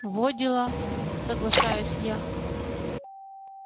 во дела соглашаюсь я